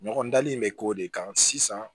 Ɲɔgɔn dali in bɛ k'o de kan sisan